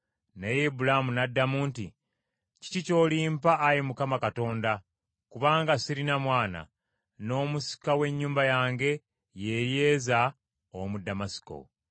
Naye Ibulaamu n’addamu nti, “Kiki ky’olimpa Ayi Mukama Katonda, kubanga sirina mwana, n’omusika w’ennyumba yange ye Eryeza ow’omu Ddamasiko?”